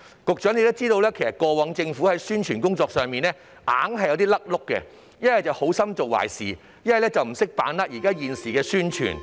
局長想必知道，過往政府的宣傳工作上總有錯漏，要不就是好心做壞事，要不就是不懂得把握時機宣傳。